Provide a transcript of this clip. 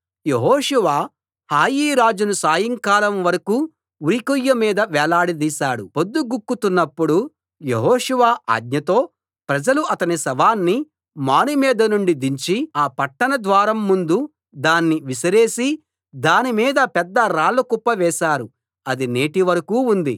యెహోషువ హాయి రాజును సాయంకాలం వరకూ ఉరికొయ్య మీద వేలాడదీశాడు పొద్దుగుంకుతున్నప్పుడు యెహోషువ ఆజ్ఞతో ప్రజలు అతని శవాన్ని మానుమీద నుండి దించి ఆ పట్టణ ద్వారం ముందు దాన్ని విసిరేసి దానిమీద పెద్ద రాళ్లకుప్ప వేశారు అది నేటి వరకూ ఉంది